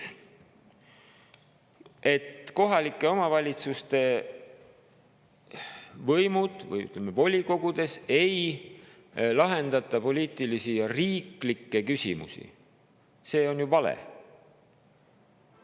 See, et kohalike omavalitsuste volikogud ei lahenda poliitilisi ja riiklikke küsimusi, on ju vale.